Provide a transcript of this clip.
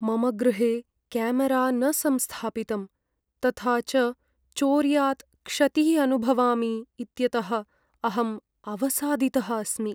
मम गृहे केमरा न संस्थापितं तथा च चौर्यात् क्षतिः अनुभवामि इत्यतः अहम् अवसादितः अस्मि।